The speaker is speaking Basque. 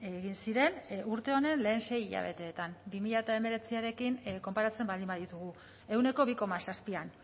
egin ziren urte honen lehen sei hilabeteetan bi mila hemeretziarekin konparatzen baldin baditugu ehuneko bi koma zazpian